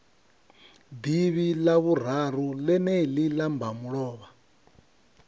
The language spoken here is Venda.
ḓivhi ḽavhuraru ḽeneḽi ḽa mbamulovha